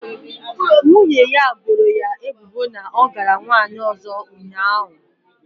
Nwunye ya boro ya ebubo na ọ gara nwanyị ọzọ ụnyaahụ